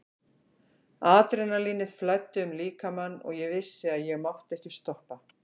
Adrenalínið flæddi um líkamann og ég vissi að ég mátti ekki stoppa.